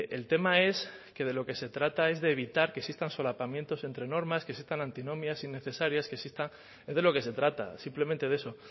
el tema es que de lo que se trata es de evitar que existan solapamientos entre normas que existan antinomias innecesarias que exista es de lo que se trata simplemente de eso